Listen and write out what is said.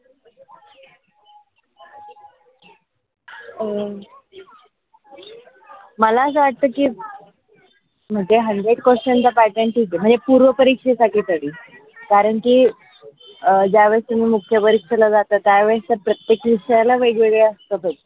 अं मला असं वाटतं की म्हनजे hundred question हर एक पूर्ण परीक्षेसाठी तरी कारण कि अं ज्यावेळी तुम्ही मुख्य परीक्षेला जाता त्यावेळेस प्रत्येक विषयाला वेगवेगळे असतात च.